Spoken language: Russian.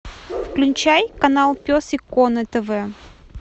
включай канал пес и ко на тв